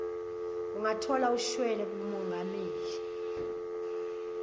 ungathola ushwele kamongameli